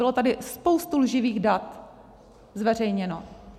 Bylo tady spoustu lživých dat zveřejněno.